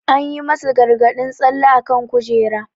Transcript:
An yi masu gargadin tsalle akan kujera.